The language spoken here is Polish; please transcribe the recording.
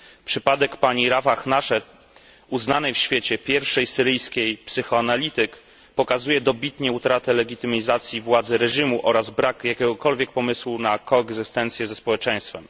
Przypadek pani Rafah Nached, uznanej w świecie pierwszej syryjskiej psychoanalityk, pokazuje dobitnie utratę legitymizacji władzy reżimu oraz brak jakiegokolwiek pomysłu na koegzystencję ze społeczeństwem.